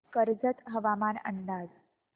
कर्जत हवामान अंदाज